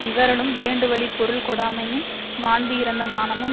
இவறலும் வேண்டும்வழிப் பொருள் கொடாமையும் மாண்பு இறந்த மானமும்